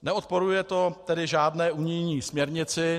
Neodporuje to tedy žádné unijní směrnici.